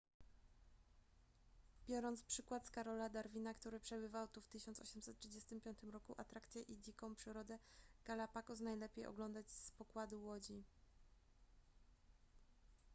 biorąc przykład z karola darwina który przebywał tu w 1835 roku atrakcje i dziką przyrodę galapagos najlepiej oglądać z pokładu łodzi